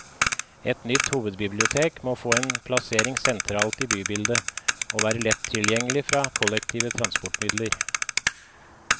Et nytt hovedbibliotek må få en plassering sentralt i bybildet, og være lett tilgjengelig fra kollektive transportmidler.